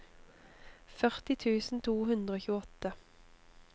førti tusen to hundre og tjueåtte